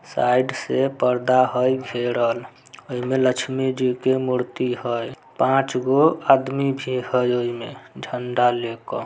Side से पर्दा हई घेरल। आ इमें लक्ष्मी जी के मूर्ति हई। पाँच गो आदमी भी हई इमें झंडा ले कर।